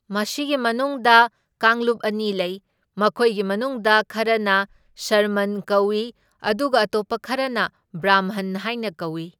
ꯃꯁꯤꯒꯤ ꯃꯅꯨꯡꯗ ꯀꯥꯡꯂꯨꯞ ꯑꯅꯤ ꯂꯩ, ꯃꯈꯣꯏꯒꯤ ꯃꯅꯨꯡꯗ ꯈꯔꯅ ꯁ꯭ꯔꯃꯟ ꯀꯧꯏ ꯑꯗꯨꯒ ꯑꯇꯣꯞꯄ ꯈꯔꯅ ꯕ꯭ꯔꯥꯝꯍꯟ ꯍꯥꯏꯅ ꯀꯧꯏ꯫